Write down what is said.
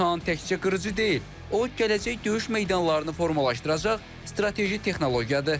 KAAN təkcə qırıcı deyil, o gələcək döyüş meydanlarını formalaşdıracaq strateji texnologiyadır.